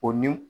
O ni